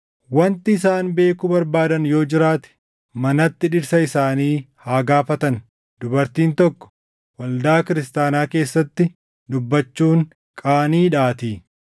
Wanti isaan beekuu barbaadan yoo jiraate manatti dhirsa isaanii haa gaafatan; dubartiin tokko waldaa kiristaanaa keessatti dubbachuun qaaniidhaatii.